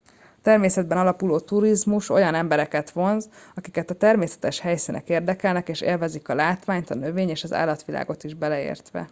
a természeten alapuló turizmus olyan embereket vonz akiket a természetes helyszínek érdekelnek és élvezik a látványt a növény és állatvilágot is beleértve